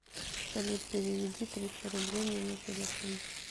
салют переведи триста рублей мне на телефон